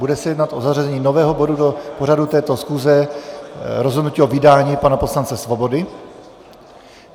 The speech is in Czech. Bude se jednat o zařazení nového bodu do pořadu této schůze - rozhodnutí o vydání pana poslance Svobody.